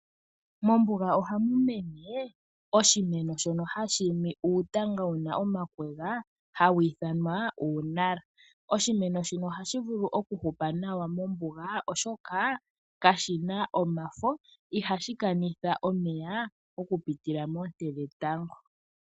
Mombuga oha mu mene oshimeno shono shi na uutanga wu na omakwega, hawu ithanwa uunala. Oshimeno shino oha shi vulu oku hupa nawa mombuga, oshoka kashi na omafo, ihashi kanitha omeya oku pitila moonte dhetango.